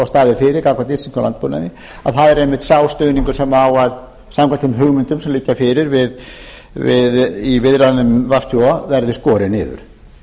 staðið fyrir gagnvart íslenskum landbúnaði að það er einmitt sá stuðningur sem á samkvæmt þeim hugmyndum sem liggja fyrir í viðræðum við svo að verði skorið niður